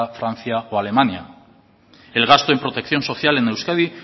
francia o alemania el gasto en protección social en euskadi